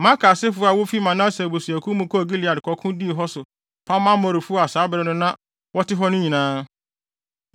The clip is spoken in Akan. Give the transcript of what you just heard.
Makir asefo a wofi Manase abusuakuw mu kɔɔ Gilead kɔko dii hɔ so pam Amorifo a saa bere no na wɔte hɔ no nyinaa.